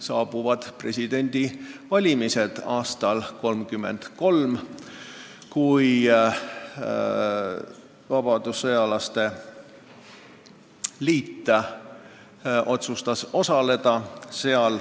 Saabusid presidendivalimised aastal 1934 ja vabadussõjalaste liit otsustas neis osaleda.